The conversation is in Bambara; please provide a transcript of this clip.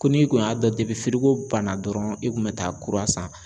Ko n'i kun y'a dɔn firiko banna dɔrɔn i kun bɛ taa kura san.